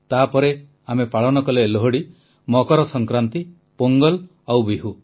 ତାପରେ ଆମେ ପାଳନ କଲେ ଲୋହଡ଼ି ମକର ସଂକ୍ରାନ୍ତି ପୋଙ୍ଗଲ ଆଉ ବିହୁ